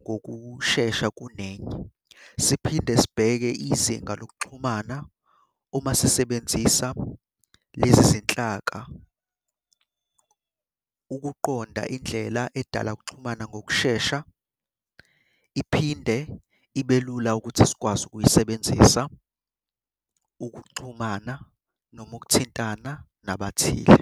ngokushesha kunenye. Siphinde sibheke izinga lokuxhumana uma sisebenzisa lezi zinhlaka ukuqonda indlela edala ukuxhumana ngokushesha, iphinde ibe lula ukuthi sikwazi ukuyisebenzisa ukuxhumana noma ukuthintana nabathile.